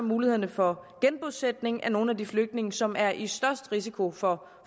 mulighederne for genbosætning af nogle af de flygtninge som er i størst risiko for